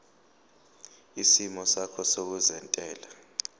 isimo sakho sezentela